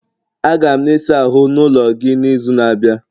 Aga m na ịsa ahụ n'ulo gị n'izu na-abịa